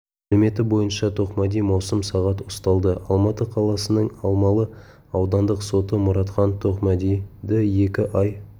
мәліметі бойынша тоқмәди маусым сағат ұсталды алматы қаласының алмалы аудандық соты мұратхан тоқмәдиді екі ай